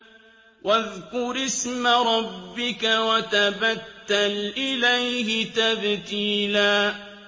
وَاذْكُرِ اسْمَ رَبِّكَ وَتَبَتَّلْ إِلَيْهِ تَبْتِيلًا